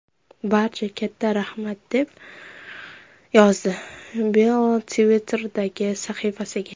Barchaga katta rahmat”, – deb yozdi Beyl Twitter’dagi sahifasiga.